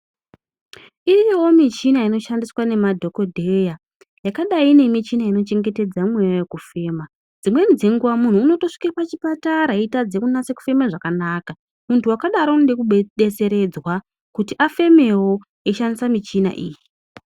Iriyowo michina inoshandiswa nemadhokodheya yakadai nemichina inochengetedza mweya wekufema dzimweni dzenguwa muntu unotosvike pachipatara eitadza kunase kufema zvakanaka muntu wakadaro unode kube detseredzwa kuti afemewo eishandisa muchini iyi.